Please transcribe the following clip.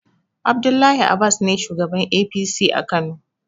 Abdullahi abas ne shugaban APC a kano